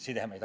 sidemeid.